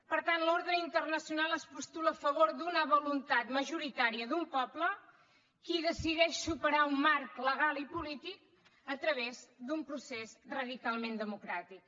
per tant l’ordre internacional es postula a favor d’una voluntat majoritària d’un poble que decideix superar un marc legal i polític a través d’un procés radicalment democràtic